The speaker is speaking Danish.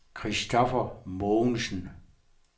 Christoffer Mogensen